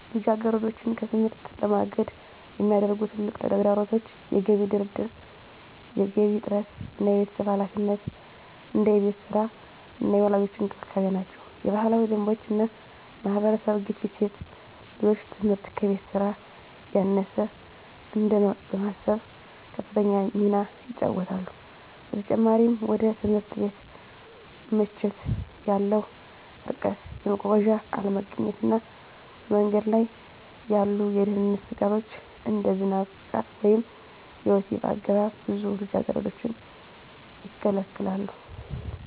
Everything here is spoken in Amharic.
ልጃገረዶችን ከትምህርት ለማገድ የሚያደርጉ ትልቁ ተግዳሮቶች የገቢ ድርድር፣ የገንዘብ እጥረት እና የቤተሰብ ኃላፊነት (እንደ የቤት ሥራ እና የወላጆች እንክብካቤ) ናቸው። የባህላዊ ደንቦች እና የማህበረሰብ ግፊት ሴት ልጆች ትምህርት ከቤት ሥራ ያነሰ እንደሆነ በማሰብ ከፍተኛ ሚና ይጫወታሉ። በተጨማሪም፣ ወደ ትምህርት ቤት ምቾት ያለው ርቀት፣ የመጓጓዣ አለመገኘት እና በመንገድ ላይ ያሉ የደህንነት ስጋቶች (እንደ ዝናብ፣ ጥቃት ወይም የወሲብ አገባብ) ብዙ ልጃገረዶችን ይከለክላሉ።